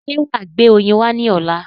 Ṣé wàá gbé oyin wá ní ọ̀la?